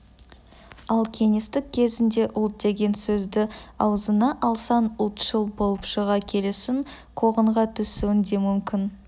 ал кеңестік кезеңде ұлт деген сөзді аузыңа алсаң ұлтшыл болып шыға келесің қуғынға түсуің де мүмкін